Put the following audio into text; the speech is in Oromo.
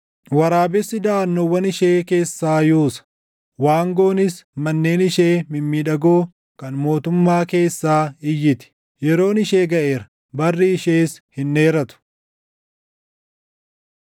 Waraabessi daʼannoowwan ishee keessaa yuusa; waangoonis manneen ishee mimmiidhagoo kan mootummaa // keessaa iyyiti. Yeroon ishee gaʼeera; barri ishees hin dheeratu.